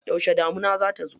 Yauce damuna za ta zo?